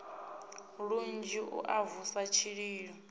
lunzhi u a vusa tshililo